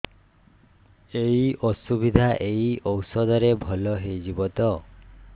ଏଇ ଅସୁବିଧା ଏଇ ଔଷଧ ରେ ଭଲ ହେଇଯିବ ତ